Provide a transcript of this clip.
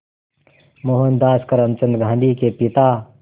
मोहनदास करमचंद गांधी के पिता